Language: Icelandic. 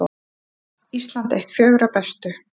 Ísland eitt fjögurra bestu